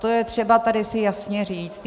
To je třeba tady si jasně říct.